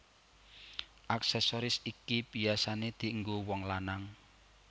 Aksesoris iki biyasané dienggo wong lanang